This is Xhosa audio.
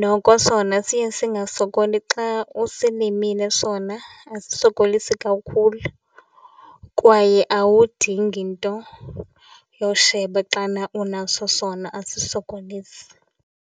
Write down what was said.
Noko sona siye singasokoli xa usilimile sona asisokolisi kakhulu kwaye awudingi nto yosheba xana unaso sona, asisokolisi.